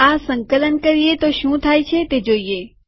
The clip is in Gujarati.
આ સંકલન કરીએ તો શું થાય છે તે જોઈએ